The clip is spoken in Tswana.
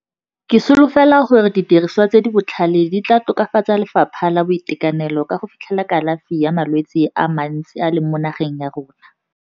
Ke solofela gore didiriswa tse di botlhale di tla tokafatsa Lefapha la Boitekanelo ka go fitlhela kalafi ya malwetse a mantsi a leng mo nageng ya rona.